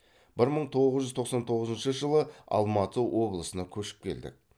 бір мың тоғыз жүз тоқсан тоғызыншы жылы алматы облысына көшіп келдік